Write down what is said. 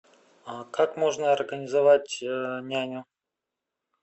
а как можно организовать няню